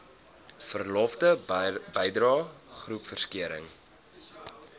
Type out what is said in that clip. verlofgelde bydrae groepversekering